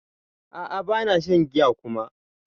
A'a bana shan giya kuma.